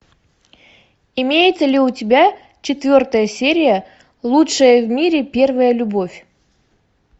имеется ли у тебя четвертая серия лучшая в мире первая любовь